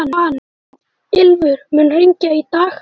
Ylfur, mun rigna í dag?